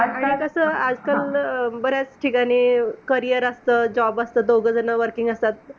आजकाल कसं आजकाल अं बऱ्याच ठिकाणी career असतं. job असतात. दोघजण working असतात.